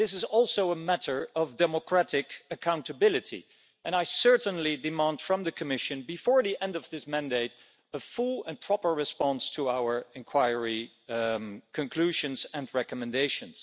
This is also a matter of democratic accountability, and I certainly demand from the Commission before the end of this mandate a full and proper response to our inquiry conclusions and recommendations.